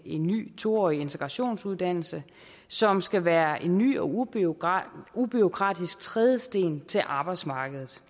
en ny to årig integrationsuddannelse som skal være en ny og ubureaukratisk ubureaukratisk trædesten til arbejdsmarkedet